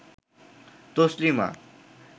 Taslima